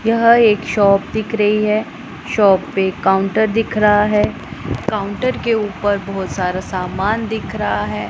यह एक शॉप दिख रही है शॉप पे काउंटर दिख रहा है काउंटर के ऊपर बहोत सारा समान दिख रहा है।